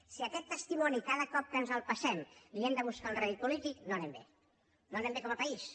si a aquest testimoni cada cop que ens el passem li hem de buscar un rèdit polític no anem bé no anem bé com a país